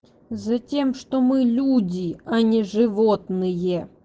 затем что мы люди а не животные